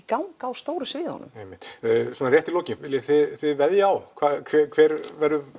gang á stóru sviðunum svona rétt í lokin viljið þið veðja á hver